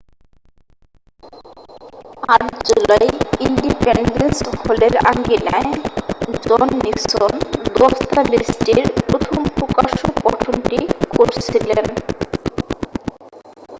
8ই July Independence হলের আঙিনায় John Nixon দস্তাবেজটির প্রথম প্রকাশ্য পঠনটি করেছিলেন